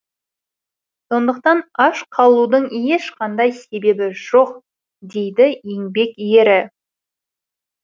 сондықтан аш қалудың ешқандай себебі жоқ дейді еңбек ері